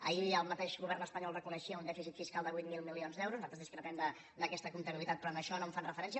ahir el mateix govern espanyol reconeixia un dèficit fiscal de vuit mil milions d’euros nosaltres discrepem d’aquesta comptabilitat però a això no hi fan referència